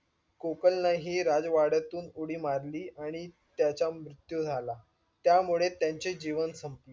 कोकण ने हि राजवाड्यातून उडी मारली आणि त्याचा मृत्यू झाला त्यामुळे त्यांचे जीवन संपलं